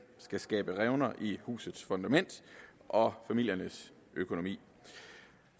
skal skabe revner i husets fundament og familiernes økonomi